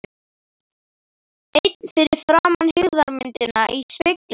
Einn fyrir framan hryggðarmyndina í speglinum.